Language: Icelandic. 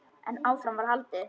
En áfram var haldið.